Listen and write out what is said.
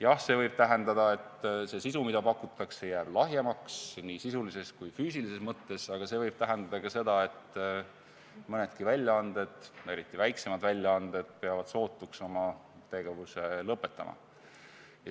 Jah, see võib tähendada, et sisu, mida pakutakse, jääb lahjemaks nii sisulises kui ka füüsilises mõttes, aga see võib tähendada ka seda, et mõnedki väljaanded, eriti väiksemad väljaanded peavad sootuks oma tegevuse lõpetama.